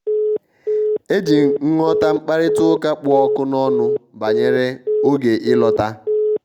e ji nghọta mkparịta ụka kpụ ọkụ n'ọnụ banyere oge ịlọta.